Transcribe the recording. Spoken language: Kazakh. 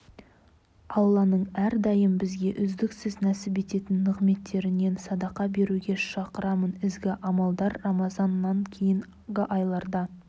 алланың әрдайым бізге үздіксіз нәсіп ететін нығметтерінен садақа беруге шақырамын ізгі амалдар рамазаннан кейінгі айларда